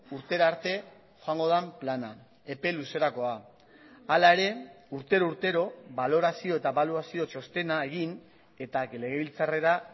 urtera arte joango den plana epe luzerakoa hala ere urtero urtero balorazio eta ebaluazio txostena egin eta legebiltzarrera